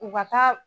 U ka taa